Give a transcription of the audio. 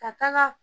Ka taaga